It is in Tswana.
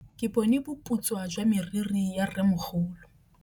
Ke bone boputswa jwa meriri ya rrêmogolo.